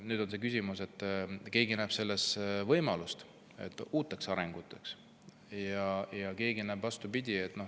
Nüüd on see küsimus, et keegi näeb siin võimalust uuteks arenguteks ja keegi näeb seda vastupidi.